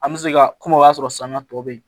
An bɛ se ka kuma o y'a sɔrɔ saniya tɔ bɛ ye